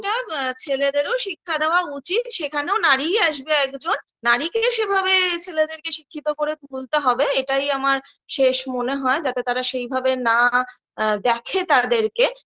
আ ছেলেদেরও শিক্ষা দেওয়া উচিত সেখানেও নারীই আসবে একজন একজন নারীকেই সেভাবে ছেলেদেরকে শিক্ষিত করে তুলতে হবে এটাই আমার শেষ মনে হয় যাতে তারা সেইভাবে না দেখে তাদেরকে